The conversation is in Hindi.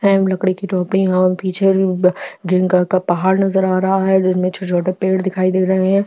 स्काई ब्लू कलर की टोपी है और बिच में भी ग्रीन कलर का पहाड़ नजर आ रहा है और बिच में छोटे - छोटे पेड़ दिखाई दे रहे है।